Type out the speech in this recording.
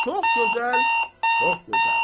Çox gözəl, çox gözəl.